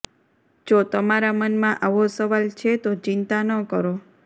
જો તમારા મનમાં આવો સવાલ છે તો ચિંતા ન કરો